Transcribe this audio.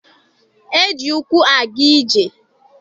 E ji ụkwụ aga ije.